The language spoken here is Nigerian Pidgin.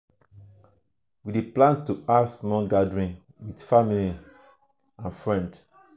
we dey plan to have small gathering with family um and friends.